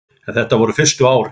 En þetta voru fyrstu árin.